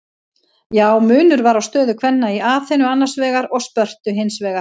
Já, munur var á stöðu kvenna í Aþenu annars vegar og Spörtu hins vegar.